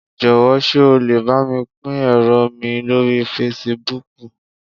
Jọ́wọ̀ sé o lè bámi pín ẹ̀rọ mi lórí Fasibúùkù